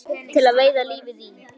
Maskína til að veiða lífið í.